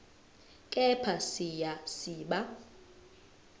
kepha siya siba